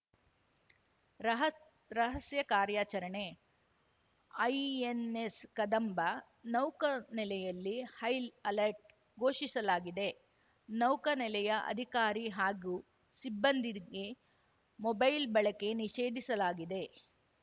ರಹ ರಹಸ್ಯ ಕಾರ್ಯಾಚರಣೆ ಐಎನ್‌ಎಸ್‌ ಕದಂಬ ನೌಕಾನೆಲೆಯಲ್ಲಿ ಹೈ ಅಲರ್ಟ್‌ ಘೋಷಿಸಲಾಗಿದೆ ನೌಕಾನೆಲೆಯ ಅಧಿಕಾರಿ ಹಾಗೂ ಸಿಬ್ಬಂದಿಗೆ ಮೊಬೈಲ್‌ ಬಳಕೆ ನಿಷೇಧಿಸಲಾಗಿದೆ